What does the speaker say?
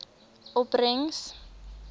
opbrengs